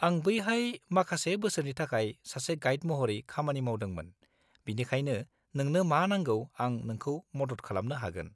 आं बैहाय माखासे बोसोरनि थाखाय सासे गाइड महरै खामानि मावदोंमोन बिनिखायनो नोंनो मा नांगौ आं नोंखौ मदद खालामनो हागोन।